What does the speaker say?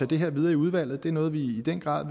det her videre i udvalget det er noget vi i den grad